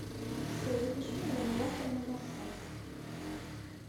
ассистент запиши меня на завтра на массаж